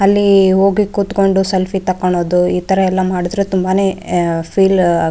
ಅಲ್ಲಿ ಹೋಗಿ ಕುತ್ಕೊಂಡು ಸೆಲ್ಫೀ ತಕ್ಕೊಳೋದು ಈ ತರ ಎಲ್ಲ ಮಾಡಿದ್ರೆ ತುಂಬಾನೆ ಫೀಲ್ .--